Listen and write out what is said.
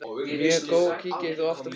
Mjög góð Kíkir þú oft á Fótbolti.net?